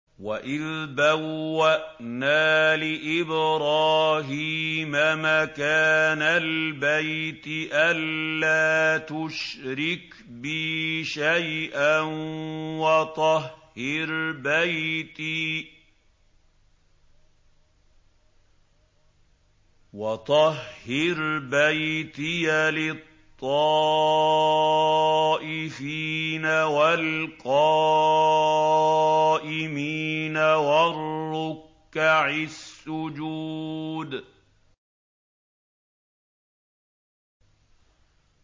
وَإِذْ بَوَّأْنَا لِإِبْرَاهِيمَ مَكَانَ الْبَيْتِ أَن لَّا تُشْرِكْ بِي شَيْئًا وَطَهِّرْ بَيْتِيَ لِلطَّائِفِينَ وَالْقَائِمِينَ وَالرُّكَّعِ السُّجُودِ